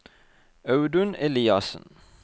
Audun Eliassen